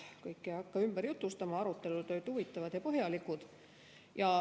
Kõike ei hakka ümber jutustama, arutelud olid huvitavad ja põhjalikud.